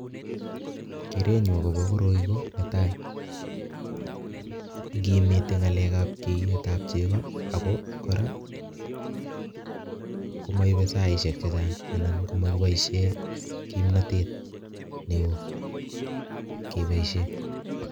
Keret nyuu agobo koroi ko, netai, ngimitei ngalekab keiyetab chego, ago kora komaibe saishiek chechang' anan komakiboisie kimnatet neoo keboisien